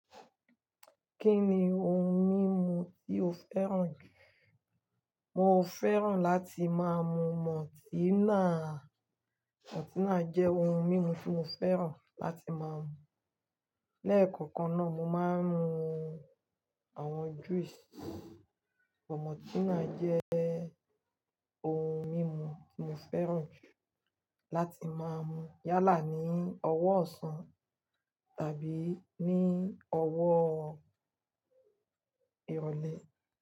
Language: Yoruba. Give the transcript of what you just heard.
Kí ni ohun mímu tí o fẹ́ràn jù? Mo fẹ́ràn la ti máa mu multina. Mọ́tínílà jẹ́ ohun mímu tí mo fẹ́ràn láti máa mu. Lẹ́ẹ̀kọ̀kan náà, mo máa ń mu àwọn juice. Multina jẹ́ ohun mímu tí mo fẹ́ràn jù láti máa mu yálà ní ọwọ́ ọ̀sán tàbí ní ọwọ́ ìrọ̀lẹ́.